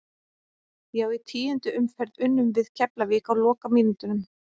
Já í tíundu umferð unnum við Keflavík á lokamínútunum.